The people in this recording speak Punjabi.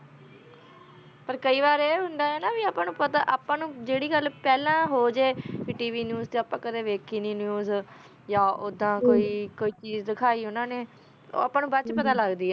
ਪਰ ਕੀ ਵਾਰ ਆਯ ਹੁੰਦਾ ਹੀ ਨਾ ਅਪਾ ਨੂ ਪਤਾ ਅਪਾ ਨੂ ਜੇਰੀ ਗਲ ਪਹਲਾ ਹੋ ਜੇ tvnews ਟੀ ਅਪਾ ਕਦੀ ਵਾਯ੍ਕੀ ਨਾਈ news ਯਾ ਓਦਾ ਟੀ ਕੋਈ ਚੀਜ਼ ਡਿਕੇ ਓਨਾ ਨੀ ਓ ਅਪਾ ਨੂ ਬਾਅਦ ਚੋ ਪਤਾ ਲਗ ਲਾਗ ਦੀ ਆ